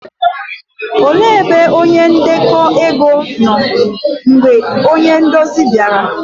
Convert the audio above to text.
òle ebe onye ndeko ego nọ mgbe onye nduzi bịara?